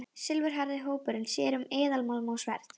Silfurhærði hópurinn sér um eðalmálma og sverð.